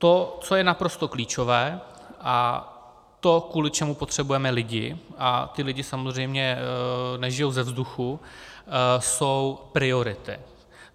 To, co je naprosto klíčové, a to, kvůli čemu potřebujeme lidi, a ti lidé samozřejmě nežijí ze vzduchu, jsou priority.